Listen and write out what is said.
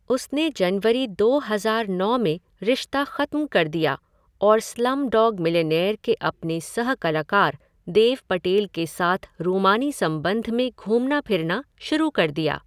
उसने जनवरी दो हज़ार नौ में रिश्ता खत्म कर दिया और स्लमडॉग मिलिनेयर के अपने सह कलाकार देव पटेल के साथ रूमानी संबंध में घूमना फिरना शुरू कर दिया।